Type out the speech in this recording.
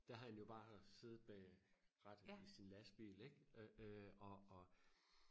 der havde han jo bare siddet bag rettet i sin lastbil ikke og og